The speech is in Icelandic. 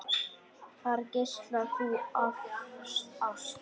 Þar geislar þú af ást.